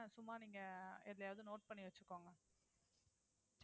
சும்மா நீங்க எதுலயாவது note பண்ணி வச்சுக்கோங்க